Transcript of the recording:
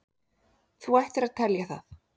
Þú ættir að telja það.